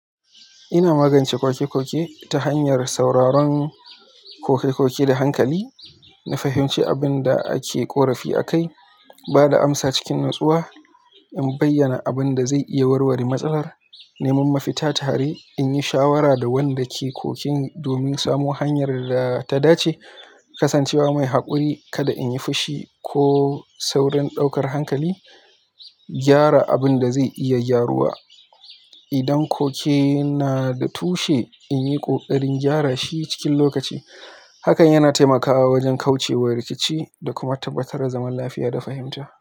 Ina magance ƙoke-ƙoke ta hanyar sauraron koke da hankali na fahimce abin da ake korafi akai bada amsa cikin natsuwa in bayyana abin da zai iya warware matsalar, neman mafita tare, in yi shawara da wanda ke ƙokin domin samo hanyar da ta dace, kasancewa mai haƙuri kada in yi fushi ko saurin ɗaukar hankali, gyara abin da zai iya gyaruwa. Idan ƙoke na da tushe, in yi ƙoƙarin gyara shi cikin lokaci. Hakan yana taimakawa wajen kauce wa rikici da kuma tabbatar da zaman lafiya da fahimta.